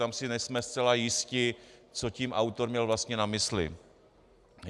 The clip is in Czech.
Tam si nejsme zcela jisti, co tím autor měl vlastně na mysli.